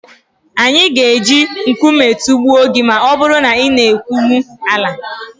anyị ga-eji nkume tụgbuo gị ma ọ bụrụ na ị na-ekwulu Alla